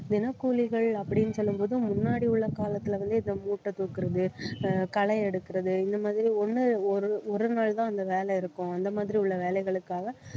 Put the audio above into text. தினக்கூலிகள் அப்படின்னு சொல்லும் போது முன்னாடி உள்ள காலத்துல வந்து இந்த மூட்டை தூக்குறது அஹ் களை எடுக்குறது இந்த மாதிரி ஒண்ணு ஒரு ஒரு நாள் தான் அந்த வேலை இருக்கும் அந்த மாதிரி உள்ள வேலைகளுக்காக